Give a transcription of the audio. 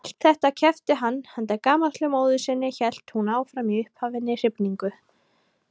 Allt þetta keypti hann handa gamalli móður sinni hélt hún áfram í upphafinni hrifningu.